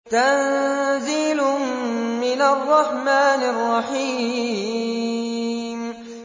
تَنزِيلٌ مِّنَ الرَّحْمَٰنِ الرَّحِيمِ